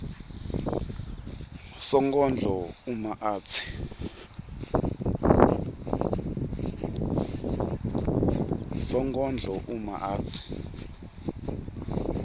sonkondlo uma atsi